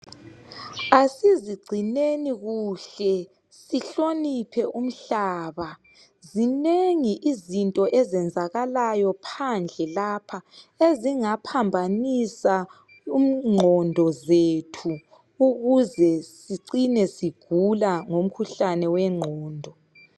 Asizigcineni kuhle sihloniphe umhlaba zinengi izinto ezenzakalayo phandle lapha ezingaphambanisa ingqondo zethu ukuze sigcine sigula ngomkhuhlane wengqondo.